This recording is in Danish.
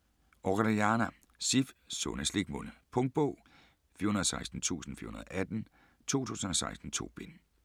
Orellana, Sif: Sunde slikmunde Punktbog 416418 2016. 2 bind.